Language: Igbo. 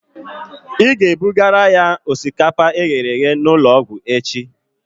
Ị ga-ebugara ya osikapa eghere eghe n'ụlọ ọgwụ echi